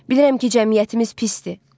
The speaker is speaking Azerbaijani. Bilirəm ki, cəmiyyətimiz pisdir.